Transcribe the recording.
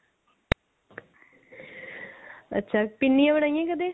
ਅੱਛਾ ਪਿੰਨੀਆ ਬਣਾਇਆ ਨੇ ਕਦੇ